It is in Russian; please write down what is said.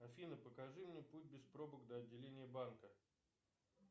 афина покажи мне путь без пробок до отделения банка